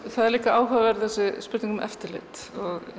það er líka áhugaverð þessi spurning um eftirlit